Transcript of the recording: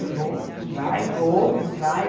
Eu vou, não vai, vou, não vai.